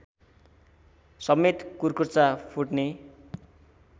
समेत कुर्कुच्चा फुट्ने